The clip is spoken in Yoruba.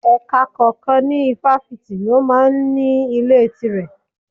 Ẹ̀ka kọ̀ọ̀kan ní Ifáfìti ló máa ń ní ilé tire.